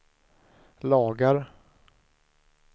lagar